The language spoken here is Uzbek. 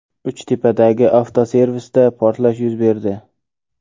Uchtepadagi avtoservisda portlash yuz berdi.